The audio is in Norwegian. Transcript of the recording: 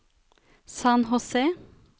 San José